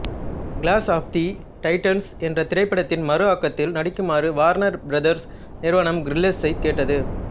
clash of the Titans என்ற திரைப்படத்தின் மறுஆக்கத்தில் நடிக்குமாறு வார்னர் பிரதர்ஸ் நிறுவனம் கிரில்ஸைக் கேட்டது